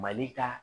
Mali ka